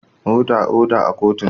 Oda, oda a kotun!